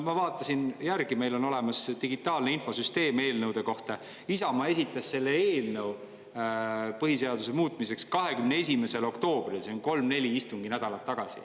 Ma vaatasin järgi – meil on olemas eelnõude digitaalne infosüsteem –, Isamaa esitas selle eelnõu põhiseaduse muutmiseks 21. oktoobril, see on kolm-neli istunginädalat tagasi.